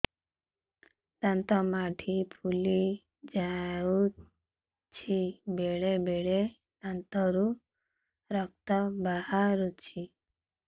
ଦାନ୍ତ ମାଢ଼ି ଫୁଲି ଯାଉଛି ବେଳେବେଳେ ଦାନ୍ତରୁ ରକ୍ତ ବାହାରୁଛି